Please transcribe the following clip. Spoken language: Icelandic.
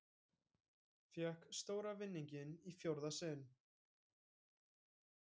Fékk stóra vinninginn í fjórða sinn